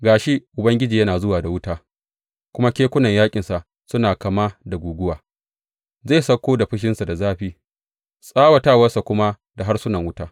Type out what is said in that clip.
Ga shi, Ubangiji yana zuwa da wuta, kuma kekunan yaƙinsa suna kama da guguwa; zai sauko da fushinsa da zafi, tsawatawarsa kuma da harsunan wuta.